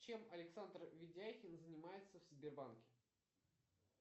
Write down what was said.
чем александр ведяхин занимается в сбербанке